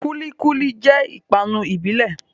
Kúlí kúlí jẹ́ ìpápánu ìbílẹ̀